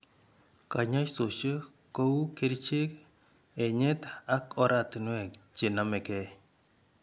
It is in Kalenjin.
Kanyoisoshek ko u kerichek, enyet ak oratinwek che nome gee.